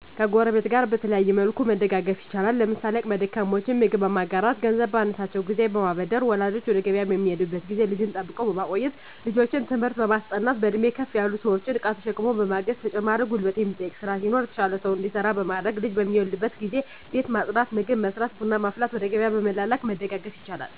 ከጎረቤት ጋር በተለያየ መልኩ መደጋገፍ ይቻላል። ለምሳሌ አቅመ ደካሞችን ምግብ በማጋራት ገንዘብ ባነሳቸው ጊዜ በማበደር ወላጆች ወደ ገቢያ በሚሄዱበት ጊዜ ልጅን ጠብቆ በማቆየት ልጆችን ትምህርት በማስጠናት በእድሜ ከፍ ያሉ ሰዎችን እቃ ተሸክሞ በማገዝ ተጨማሪ ጉልበት የሚጠይቅ ስራ ሲኖር የተሻለ ሰው እንዲሰራው በማድረግ ልጅ በሚወልዱበት ጊዜ ቤት ማፅዳት ምግብ መስራት ቡና ማፍላትና ወደ ገቢያ በመላላክ መደጋገፍ ይቻላል።